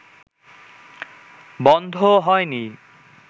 বন্ধ হয় নি